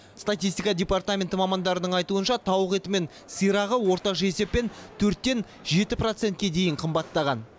статистика департаменті мамандарының айтуынша тауық еті мен сирағы орташа есеппен төрттен жеті процентке дейін қымбаттаған